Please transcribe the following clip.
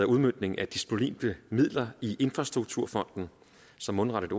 udmøntning af disponible midler i infrastrukturfonden så mundret et